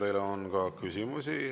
Teile on ka küsimusi.